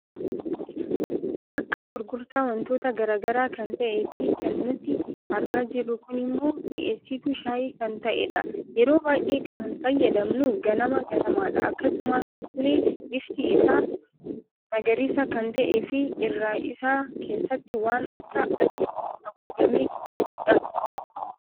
Bakka gurgurtaa wantoota garaagaraa kan ta'ee fi kan nuti argaa jirru kunimmo mi'eessitu shaayii kan ta'edha. Yeroo baay'ee kan fayyadamnu ganama, ganamadha. Akkasumallee bifti isa magariisa kan ta'eefi irra isaa keesaatti waan akka adiin aguugame kan jirudha.